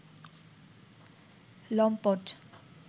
লম্পট